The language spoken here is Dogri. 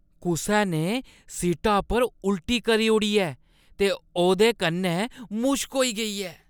कुसै ने सीटा पर उल्टी करी ओड़ी ऐ ते ओह्दे कन्नै मुश्क होई गेई ऐ।